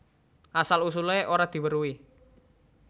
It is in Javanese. Asal usulé ora diweruhi